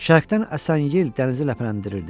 Şərqdən əsən yel dənizi ləpələndirirdi.